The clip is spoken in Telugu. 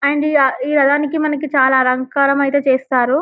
అండ్ ఈ రథానికి మనకి చాలా అలంకారం అయితే చేస్తారు --